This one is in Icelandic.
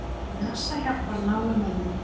NASA hjálpar námumönnum